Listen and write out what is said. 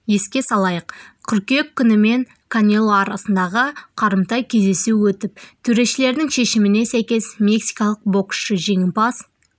еске салайық қыркүйек күні мен канело арасындағы қарымта кездесу өтіп төрешілердің шешіміне сәйкес мексикалық боксшы жеңімпаз